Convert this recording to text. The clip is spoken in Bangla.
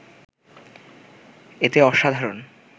এতে অসাধারণ